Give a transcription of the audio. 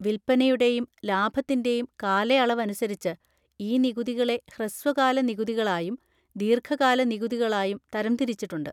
വില്പനയുടെയും ലാഭത്തിൻ്റെയും കാലയളവനുസരിച്ച് ഈ നികുതികളെ ഹ്രസ്വകാല നികുതികളായും ദീർഘകാല നികുതികളായും തരംതിരിച്ചിട്ടുണ്ട്.